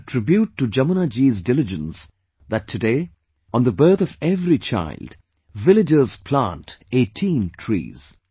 It is a tribute to Jamunaji's diligence that today, on the birth of every child, villagersplant 18 trees